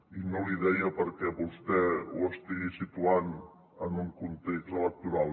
i no l’hi deia perquè vostè ho estigui situant en un context electoral